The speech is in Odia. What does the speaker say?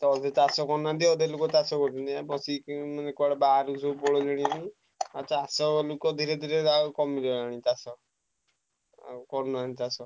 :ଅଧେ ଚାଷ କରୁନାହାନ୍ତି ଅଧେ ଲୋକ ଚାଷ କରୁଛନ୍ତି ମାନେ ବାହାରକୁ କୁଆଡେ ପଳେଇଲେଣି ଭାଇ ଆଉ ଚାଷ ଲୋକ ଧୀରେଧୀରେ କମି ଗଲାଣି ଚାଷ ଆଉ କରୁନାହାନ୍ତି ଚାଷ।